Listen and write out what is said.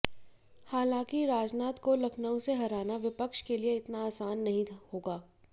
हालांकि राजनाथ को लखनऊ से हराना विपक्ष के लिए इतना आसान नहीं होगा